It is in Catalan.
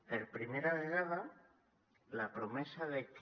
per primera vegada la promesa de que